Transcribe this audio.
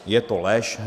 Je to lež.